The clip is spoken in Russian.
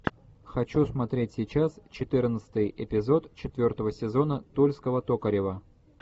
хочу смотреть сейчас четырнадцатый эпизод четвертого сезона тульского токарева